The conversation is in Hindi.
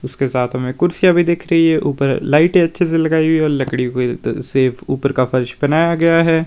इसके साथ में कुर्सियां भी दिख रही है। ऊपर लाइट अच्छी सी लगाई है। लकड़ी से ऊपर का फर्श बनाया गया है।